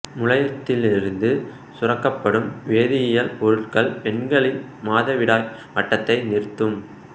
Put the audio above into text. முளையத்திலிருந்து சுரக்கப்படும் வேதியியல் பொருட்கள் பெண்களின் மாதவிடாய் வட்டத்தை நிறுத்தும்